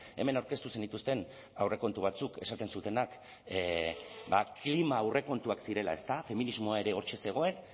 hemen aurkeztu zenituzten aurrekontu batzuk esaten zutenak klima aurrekontuak zirela ezta feminismoa ere hortxe zegoen